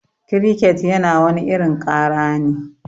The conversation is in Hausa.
Kiriket yana wani irin kara ne.